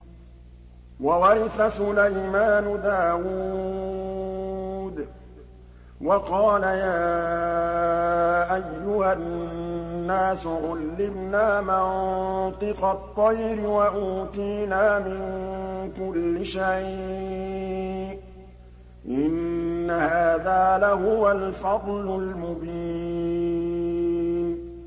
وَوَرِثَ سُلَيْمَانُ دَاوُودَ ۖ وَقَالَ يَا أَيُّهَا النَّاسُ عُلِّمْنَا مَنطِقَ الطَّيْرِ وَأُوتِينَا مِن كُلِّ شَيْءٍ ۖ إِنَّ هَٰذَا لَهُوَ الْفَضْلُ الْمُبِينُ